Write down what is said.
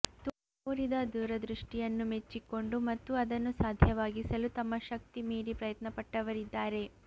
ತೋರಿದ ದೂರದೃಷ್ಟಿಯನ್ನು ಮೆಚ್ಚಿಕೊಂಡು ಮತ್ತು ಅದನ್ನು ಸಾಧ್ಯವಾಗಿಸಲು ತಮ್ಮ ಶಕ್ತಿ ಮೀರಿ ಪ್ರಯತ್ನಪಟ್ಟವರಿದ್ದಾರೆ